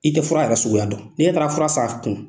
I tɛ fura yɛrɛ suguya dɔn, n'i e taara fura san a kun.